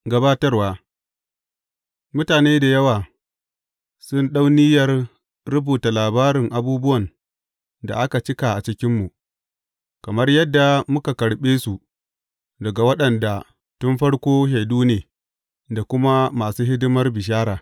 Gabatarwa Mutane da yawa sun ɗau niyyar rubuta labarin abubuwan da aka cika a cikinmu, kamar yadda muka karɓe su daga waɗanda tun farko shaidu ne da kuma masu hidimar bishara.